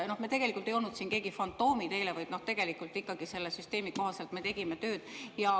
Me tegelikult ei olnud siin keegi eile fantoomid, vaid selle süsteemi kohaselt me tegime tööd.